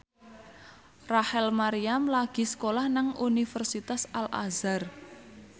Rachel Maryam lagi sekolah nang Universitas Al Azhar